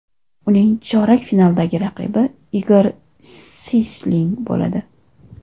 Uning chorak finaldagi raqibi Igor Siysling bo‘ladi.